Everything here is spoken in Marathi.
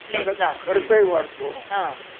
त्याचा खर्चही वाढतो